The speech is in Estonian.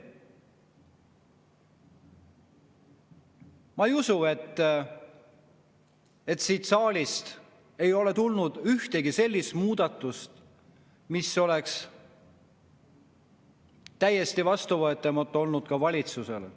Ma ei usu, et siit saalist ei ole tulnud ühtegi sellist muudatust, mis oleks olnud täiesti vastuvõetav ka valitsusele.